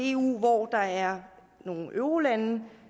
eu hvor der er nogle eurolande